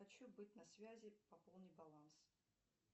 хочу быть на связи пополни баланс